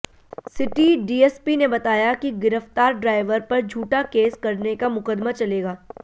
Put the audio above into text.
city DSP ने बताया कि गिरफ्तार ड्राइवर पर झूठा केस करने का मुकदमा चलेगा